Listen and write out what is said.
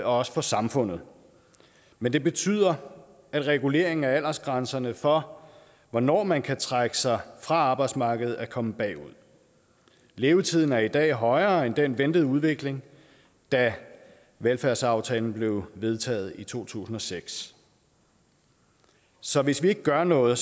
også for samfundet men det betyder at reguleringen af aldersgrænserne for hvornår man kan trække sig fra arbejdsmarkedet er kommet bagud levetiden er i dag højere end den ventede udvikling da velfærdsaftalen blev vedtaget i to tusind og seks så hvis vi ikke gør noget